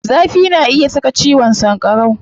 Zafi na iya saka ciwon sankarau.